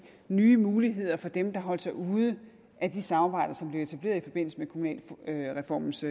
nye muligheder for dem der holdt sig ude af de samarbejder som blev etableret i forbindelse med kommunalreformens